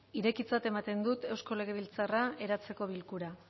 irekitzat ematen dut eusko legebiltzarra eratzeko bilkura